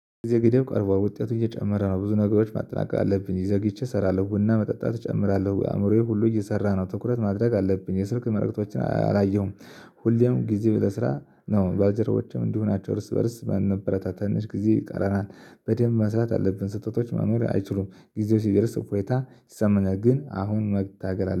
የገደብ ቀርቧል ውጤቱ እየጨመረ ነው። ብዙ ነገሮች ማጠናቀቅ አለብኝ ይዘግይቼ እሰራለሁ ቡና መጠጣት እጨምራለሁ ወይ አእምሮዬ ሁሉ እየሰራ ነው ትኩረት ማድረግ አለብኝ የስልክ መልእክቶችን አላየሁም። ሁሌም ጊዜአ ለስራ ነው ባልጀርባዎችም እንዲሁ ናቸው። እርስ በእርስ በነበረታት ትንሽ ጊዜ ይቀረናል። በደንብ መስራት አለብን ስህተቶች መኖር አይችሉም። ጊዜው ሲደርስ እፎይታ ይሰማናል። ግን አሁን መታገል አለ